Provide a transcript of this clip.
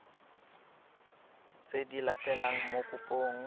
tse di latelang mo kopong